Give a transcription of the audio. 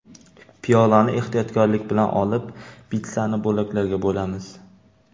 Piyolani ehtiyotkorlik bilan olib, pitssani bo‘laklarga bo‘lamiz.